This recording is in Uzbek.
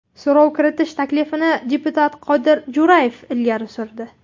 So‘rov kiritish taklifini deputat Qodir Jo‘rayev ilgari surdi.